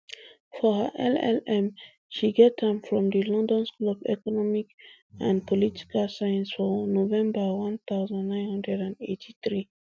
for her llm she get am from di london school of economic and political science for november one thousand, nine hundred and eighty-three